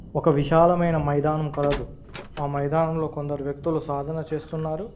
ఒక విశాలమైన మైదానం కలదు ఆ మైదానంలో కొందరు వ్యక్తులు సాధన చేస్తున్నారు.